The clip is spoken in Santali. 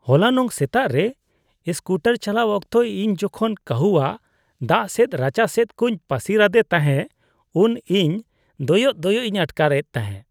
ᱦᱚᱞᱟᱱᱚᱜ ᱥᱮᱛᱟᱜ ᱨᱮ ᱥᱠᱩᱴᱟᱨ ᱪᱟᱞᱟᱣ ᱚᱠᱛᱚ ᱤᱧ ᱡᱚᱷᱚᱱ ᱠᱟᱹᱦᱩᱣᱟᱜ ᱫᱟᱜᱥᱮᱫᱼᱨᱟᱪᱟᱥᱮᱫ ᱠᱚᱧ ᱯᱟᱹᱥᱤᱨᱟᱫᱮ ᱛᱟᱦᱮᱸ ᱩᱱ ᱤᱧ ᱫᱚᱭᱚᱜ ᱫᱚᱭᱚᱜ ᱤᱧ ᱟᱴᱠᱟᱨ ᱮᱫ ᱛᱟᱦᱮᱸ ᱾